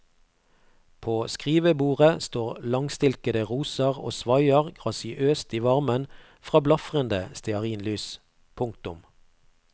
På skrivebordet står langstilkede roser og svaier grasiøst i varmen fra blafrende stearinlys. punktum